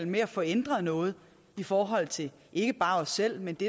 med at få ændret noget i forhold til ikke bare os selv men det